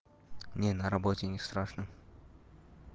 не на работе не страшно